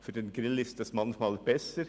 Für den Grill ist das manchmal besser.